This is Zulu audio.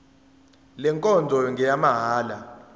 le nkonzo ngeyamahala